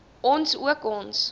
ons ook ons